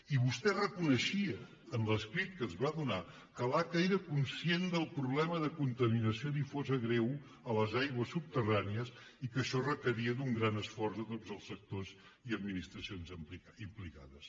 i vostè reconeixia en l’escrit que ens va donar que l’aca era conscient del problema de contaminació difusa greu a les aigües subterrànies i que això requeria un gran esforç de tots els sectors i administracions implicades